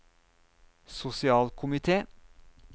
sosialkomite